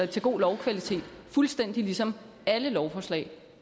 til god lovkvalitet fuldstændig ligesom alle lovforslag